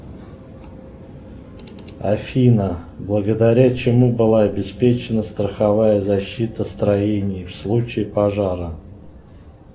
афина благодаря чему была обеспечена страховая защита строений в случае пожара